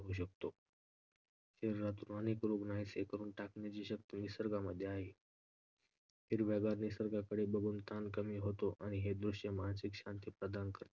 शरीरातून अनेक रोग नाहीसे करून टाकण्याची शक्ती निसर्गामध्ये आहे. हिरव्यागार निसर्गाकडे बघून ताण कमी कमी होते आणि हे दृश्य मानसिक शांती प्रदान करते.